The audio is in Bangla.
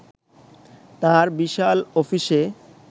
তাঁর বিশাল অফিসে